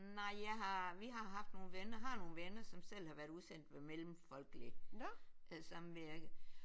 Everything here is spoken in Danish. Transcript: Nej jeg har vi har haft nogle venner har nogle venner som selv har været udsendt med Mellemfolkeligt øh Samvirke